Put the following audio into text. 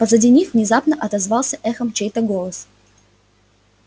позади них внезапно отозвался эхом чей-то голос